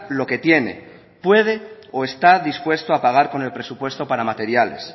lo que tiene puede o está dispuesto a pagar con el presupuesto para materiales